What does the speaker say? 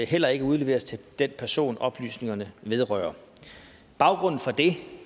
heller ikke udleveres til den person oplysningerne vedrører baggrunden for det